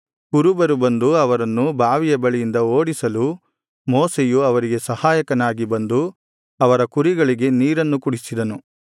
ಕುರುಬರು ಬಂದು ಅವರನ್ನು ಬಾವಿಯ ಬಳಿಯಿಂದ ಓಡಿಸಲು ಮೋಶೆಯು ಅವರಿಗೆ ಸಹಾಯಕನಾಗಿ ಬಂದು ಅವರ ಕುರಿಗಳಿಗೆ ನೀರನ್ನು ಕುಡಿಸಿದನು